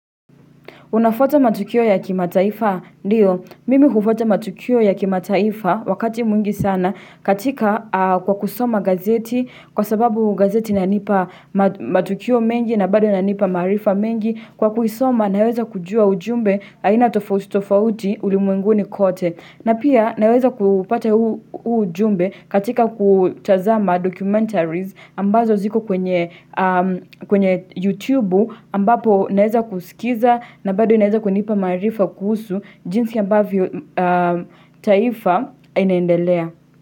Unafwata matukio ya kimataifa? Ndio. Mimi hufwata matukio ya kimataifa wakati mwingi sana katika kwa kusoma gazeti kwa sababu gazeti inanipa matukio mengi na bado inanipa maarifa mengi. Kwa kuisoma naweza kujua ujumbe aina tofauti tofauti ulimwenguni kote na pia naweza kupata ujumbe katika kutazama documentaries ambazo ziko kwenye YouTube ambapo naweza kusikiza na bado inaweza kunipa maarifa kuhusu jinsi ambavyo taifa inaendelea.